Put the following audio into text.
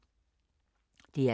DR K